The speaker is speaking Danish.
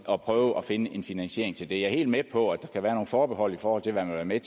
og prøve at finde en finansiering til det jeg er helt med på at der kan være nogle forbehold i forhold til hvad man vil